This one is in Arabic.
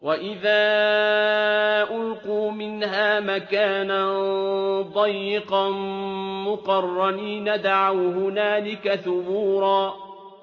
وَإِذَا أُلْقُوا مِنْهَا مَكَانًا ضَيِّقًا مُّقَرَّنِينَ دَعَوْا هُنَالِكَ ثُبُورًا